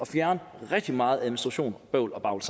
fjerne rigtig meget administration bøvl og